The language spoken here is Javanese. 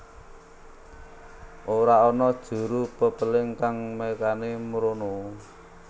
Ora ana juru pepéling kang nekani mrono